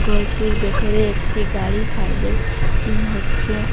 ঘরটির ভেতরে একটি গাড়ি সার্ভিসিং হচ্ছে।